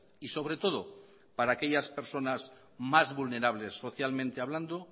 y sobre todo para aquellas personas más vulnerables socialmente hablando